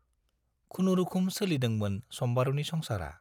खुनुरुखुम सोलिदोंमोन सम्बारुनि संसारा।